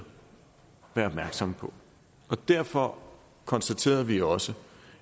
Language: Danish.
være opmærksomme på og derfor konstaterede vi også